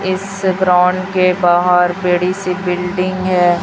इस ग्राउंड के बाहर बड़ी सी बिल्डिंग है।